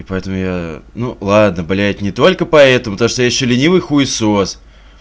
поэтому я ну ладно блять не только поэтому так что ещё ленивый хуесос